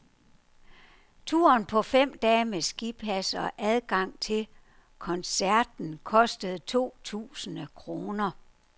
Turen på fem dage med skipas og adgang til koncerten koster to tusinde kroner.